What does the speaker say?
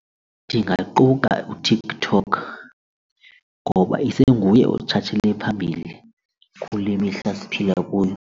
Ndingaquka uTikTok ngoba isenguye otshatshele phambili kule mihla siphila kuyo.